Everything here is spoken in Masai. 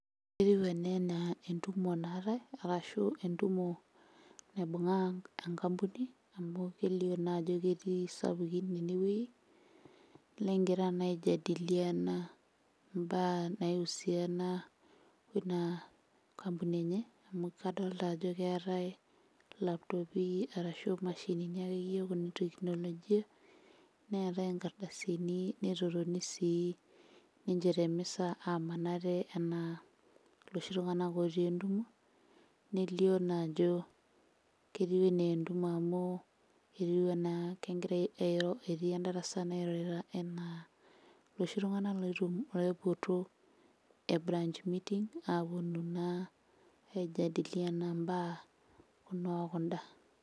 Etiu ena naa entumo naatai arashu entumo naibung'a enkampuni amu kelio naajo ketii isapukin ene wuei, negira naa aijadiliana mbaa naiusiana wo ina kampuni enye, amu kadolta ajo keetai ilaptopi arashu imashinini akeyie kuna e teknolojia, neeta inkardasini, netotoni sii ninche te mesa aaman ate enaa iloshi tung'anak ootii entumo, nelio naa ajo ketiu enaa entumo amu etiu enaa kegirai airo, etii endarasa airo enaa iloshi tung'anak oiyu loipoto e branch meeting aaponu naa aijadiliana imbaa kuna o kunda.